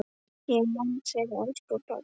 Ég man þig, elsku pabbi.